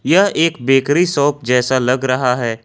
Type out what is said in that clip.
यह एक bakery shop जैसा लग रहा है।